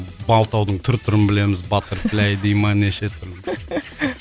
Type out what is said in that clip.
малтаудың түр түрін білеміз баттерфляй дейді ма неше түрлі